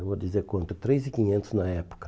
Eu vou dizer quanto, três e quinquentos na época.